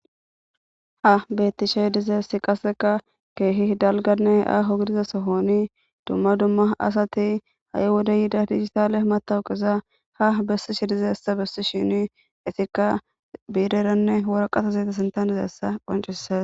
Ha beettishe dizeessi qaseka keehi dalganne aaho gidizasohooni dumma dumma asati ayhuda yiida diigitale matawu qiza ha bessishe dizeessa bessi shini itikka biireranne woro qatazeeta sintanezeessa qancisas.